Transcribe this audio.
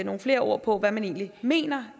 nogle flere ord på hvad man egentlig mener